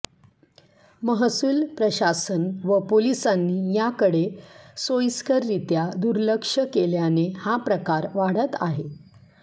महसूल प्रशासन व पोलिसांनी याकडे सोयिस्कररित्या दुर्लक्ष केल्याने हा प्रकार वाढत आहे